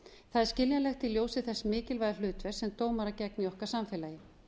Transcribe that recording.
það er skiljanlegt í ljósi þess mikilvæga hlutverks sem dómarar gegna i okkar samfélagi